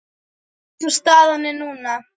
Eins og staðan er núna.